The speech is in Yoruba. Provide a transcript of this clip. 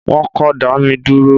Wọn kò dá mi dúró.